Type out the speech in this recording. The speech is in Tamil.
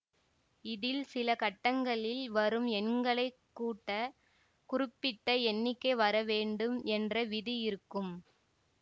இதில் சில கட்டங்களில் வரும் எண்களை கூட்ட குறிப்பிட்ட எண்ணிக்கை வரவேண்டும் என்ற விதி இருக்கும்